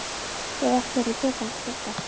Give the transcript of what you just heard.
Svo er allt hérna í poka handa Dodda.